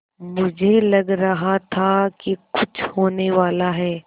मुझे लग रहा था कि कुछ होनेवाला है